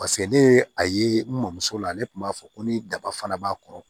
Paseke ne ye a ye n mɔmuso la ne kun b'a fɔ ko ni daba fana b'a kɔrɔ